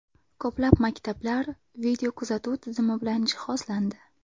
Ko‘plab maktablar videokuzatuv tizimi bilan jihozlandi.